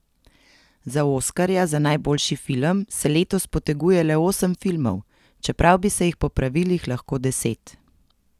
Za oskarja za najboljši film se letos poteguje le osem filmov, čeprav bi se jih po pravilih lahko deset.